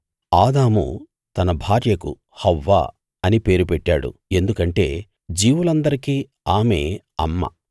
ఆదాము తన భార్యకు హవ్వ అని పేరు పెట్టాడు ఎందుకంటే జీవులందరికీ ఆమే అమ్మ